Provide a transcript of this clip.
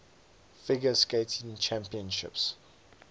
figure skating championships